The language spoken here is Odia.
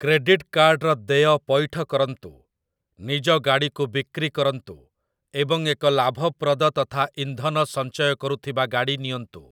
କ୍ରେଡିଟ୍ କାର୍ଡର ଦେୟ ପଇଠ କରନ୍ତୁ, ନିଜ ଗାଡ଼ିକୁ ବିକ୍ରି କରନ୍ତୁ ଏବଂ ଏକ ଲାଭପ୍ରଦ ତଥା ଇନ୍ଧନ ସଞ୍ଚୟ କରୁଥିବା ଗାଡ଼ି ନିଅନ୍ତୁ ।